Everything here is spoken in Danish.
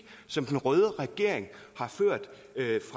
som den røde regering